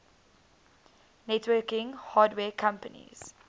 networking hardware companies